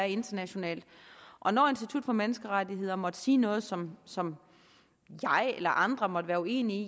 internationale og når institut for menneskerettigheder måtte sige noget som som jeg eller andre måtte være uenige